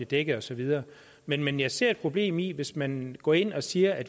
dækket og så videre men men jeg ser et problem i det hvis man går ind og siger at